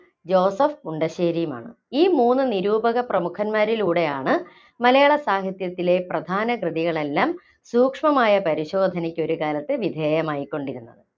Joseph മുണ്ടശ്ശേരിയുമാണ്. ഈ മൂന്ന് നിരൂപക പ്രമുഖൻമാരിലൂടെയാണ് മലയാള സാഹിത്യത്തിലെ പ്രധാന കൃതികളെല്ലാം സൂക്ഷ്‌മമായ പരിശോധനക്ക് ഒരുകാലത്ത് വിധേയമായിക്കൊണ്ടിരുന്നത്‌.